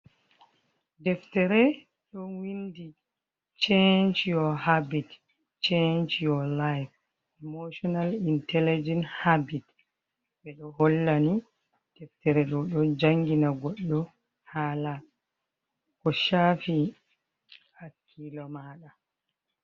Deftere ɗo winndi chenc your habit, chenc your life, emotional intelligent habit, ɓe ɗo hollani deftere ɗo ɗo janngina goɗɗo haala ko shaafi hakiilo maaɗa.